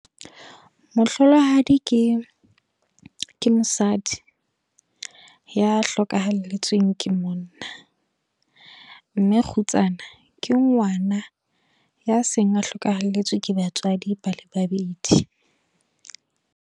Mohlolohadi, ke ke mosadi, ya hlokahalletsweng ke monna. Mme kgutsana, ke ngwana ya seng a hlokahelletswe ke batswadi ba le babedi.